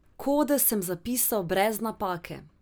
Kode sem zapisal brez napake.